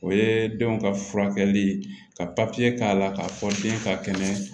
O ye denw ka furakɛli ka k'a la k'a fɔ den ka kɛnɛ